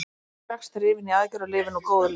Hann var strax drifinn í aðgerð og lifir nú góðu lífi.